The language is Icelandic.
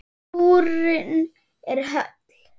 Skúrinn er höll.